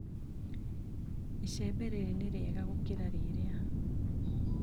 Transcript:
Icembe rĩrĩ nĩrĩega gũkĩra rĩrĩa.